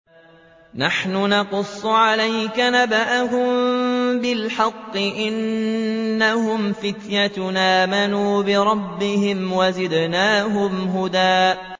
نَّحْنُ نَقُصُّ عَلَيْكَ نَبَأَهُم بِالْحَقِّ ۚ إِنَّهُمْ فِتْيَةٌ آمَنُوا بِرَبِّهِمْ وَزِدْنَاهُمْ هُدًى